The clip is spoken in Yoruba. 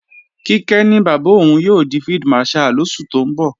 Kíkẹ́ ní bàbá òun yóò di Field Marshal lóṣù tó ń bọ̀